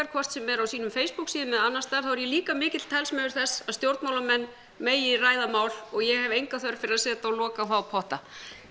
hvort sem er á sínum Facebook síðum eða annars staðar þá er ég líka mikill talsmaður þess að stjórnmálamenn megi ræða mál og ég hef enga þörf fyrir að setja lok á þá potta